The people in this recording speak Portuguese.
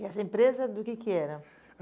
E essa empresa do que que era?